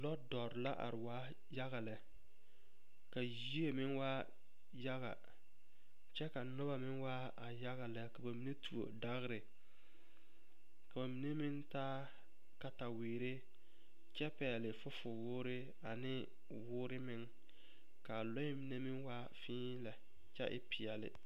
Lodɔre la are waa yaga lɛ ka yie meŋ waa yaga kyɛ ka a noba meŋ waa a yaga lɛ ka ba mine tuo dagri ka ba mine meŋ taa kataweere kyɛ pɛgle fufuwuuri ane wuuro meŋ ka a loɛ mine meŋ waa fee lɛ kyɛ e peɛle.